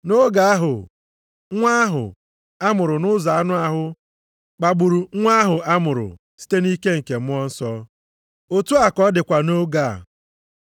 Nʼoge ahụ, nwa ahụ a mụrụ nʼụzọ anụ ahụ kpagburu nwa ahụ a mụrụ site nʼike nke Mmụọ Nsọ. Otu a ka ọ dịkwa nʼoge a.